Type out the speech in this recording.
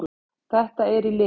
Það er í lit!